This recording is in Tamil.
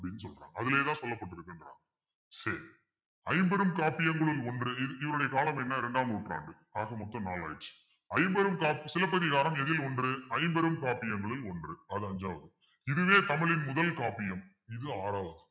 சரி ஐம்பெரும் காப்பியங்களுள் ஒன்று இவருடைய காலம் என்ன இரண்டாம் நூற்றாண்டு ஆக மொத்தம் நாலு ஆச்சு ஐம்பெரும் காப்பு சிலப்பதிகாரம் எதில் ஒன்று ஐம்பெரும் காப்பியங்களில் ஒன்று அது அஞ்சாவது இதுவே தமிழின் முதல் காப்பியம் இது ஆறாவது